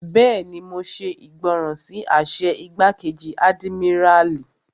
Bẹ́ẹ̀ni, mo ṣe ìgbọràn sí àṣẹ igbákejì àdìmíràlí